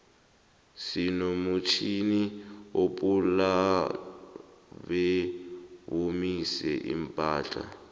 sinomutjnini opula bewomise iimpahla